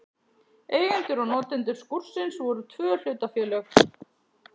Eigendur og notendur skúrsins voru tvö hlutafélög.